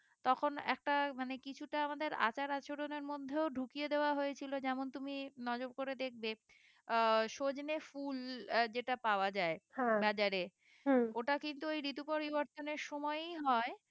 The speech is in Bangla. তখন একটা মানে কিছুটা আমাদের আচার আচরণের মধ্যেও ঢুকিয়ে দেওয়া হয়েছিল যেমন তুমি নজর করে দেখবে আহ সজনে ফুল যেটা পাওয়া যায় বাজারে ওটা কিন্তু ওই ঋতু পরিবর্তনের সময়ই হয়